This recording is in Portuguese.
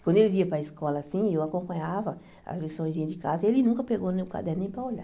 Quando eles iam para a escola, assim, eu acompanhava as liçõezinhas de casa e ele nunca pegou no meu caderno nem para olhar.